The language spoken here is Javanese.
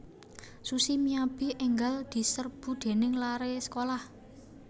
Sushi Miyabi enggal diserbu dening lare sekolah